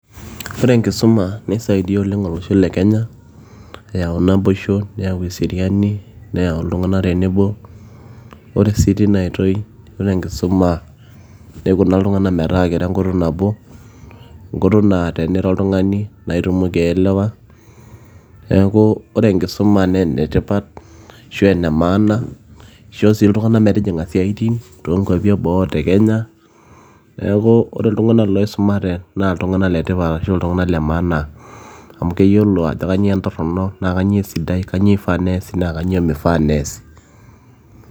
ore enkisuma nisaidia oleng olosho le kenya eyau naboisho neyau eseriani neyau iltung'anak tenebo ore sii tina oitoi yiolo enkisuma nikuna iltung'anak metaa kiro enkutuk nabo enkutuk naa teniro oltung'ani naa itumoki aelewa neeku ore enkisuma naa enetipat ashu ene maana ishoo sii iltung'anak metijing'a isiaitin toonkuapi eboo o tekenya neku ore iltung'anak loisumate naa iltung'anak letipat ashu iltung'anak le maana amu keyiolo ajo kanyio entorrono naa kanyioo esidai kanyio ifaa nees naa kanyio ifaa nees.